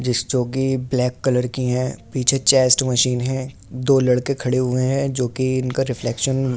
जिस चॉगी black colour की हैं पीछे चेस्‍ट मशीन है दो लड़के खड़े हुए हैं जो कि इनका रिफ्लैक्शन --